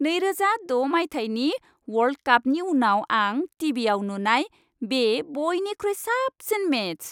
नैरोजा द' मायथाइनि वर्ल्ड कापनि उनाव आं टि.भि.आव नुनाय बे बइनिख्रुइ साबसिन मेच।